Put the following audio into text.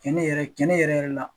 Cɛnni yɛrɛ cɛnni yɛrɛ yɛrɛ la.